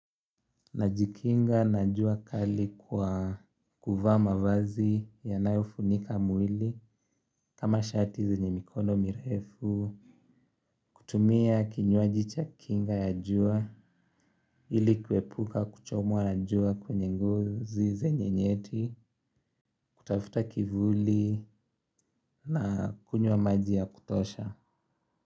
Najikinga na jua kali kwa kuvaa mavazi yanayofunika mwili kama shati zenye mikono mirefu. Kutumia kinywaji cha kinga ya jua ili kuepuka kuchomwa na jua kwenye ngozi zenye nyeti kutafuta kivuli na kunywa maji ya kutosha.